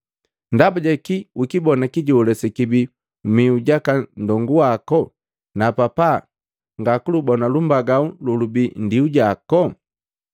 Ndaba jakii ukibona kijola sekibii mmihu jaka nndongu waku, na papa ngakulubona lumbagau lolubii nndiu jako?